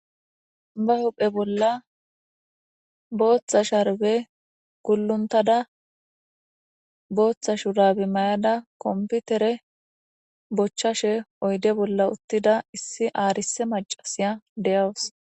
Be huphe bola botha sharbe guluntada botha shurabe mayada konfitere bochashe oyde bola utida issi arise macasiya de'awus